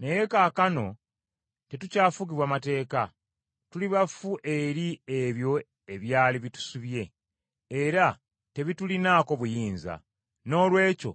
Naye kaakano tetukyafugibwa mateeka. Tuli bafu eri ebyo ebyali bitusibye, era tebitulinaako buyinza. Noolwekyo